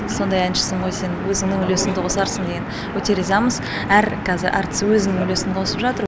сондай әншісің ғой сен өзіңнің үлесіңді қосарсың деген өте ризамыз әр қазір әртіс өзінің үлесін қосып жатыр